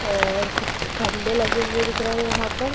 और कुछ खंबे लगे हुए दिख रहे यहां पर--